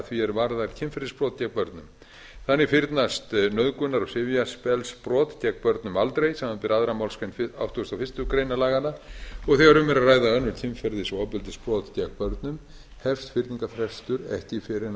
því er varðar kynferðisbrot gegn börnum þannig fyrnast nauðgunar og sifjaspellsbrot gegn börnum aldrei samanber annarrar málsgreinar áttugustu og fyrstu grein laganna og þegar um er að ræða önnur kynferðis og ofbeldisbrot gegn börnum hefst fyrningarfrestur ekki fyrr en